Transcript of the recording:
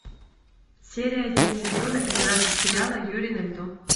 серия один сезона пятнадцать сериала юри на льду